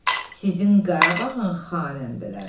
Sizin Qarabağın xanəndələri.